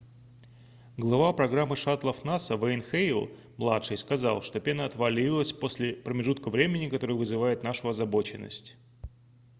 глава программы шаттлов наса н вэйн хейл младший сказал что пена отвалилась после промежутка времени который вызывает нашу озабоченность